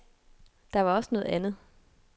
Der var også noget andet.